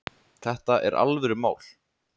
Þetta er alvörumál